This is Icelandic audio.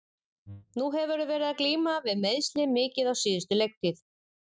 Nú hefurðu verið að glíma við meiðsli mikið á síðustu leiktíð.